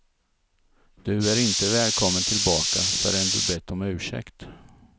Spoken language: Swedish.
Du är inte välkommen tillbaka förrän du bett om ursäkt.